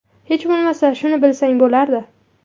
Hech bo‘lmasa shuni bilsang bo‘lardi!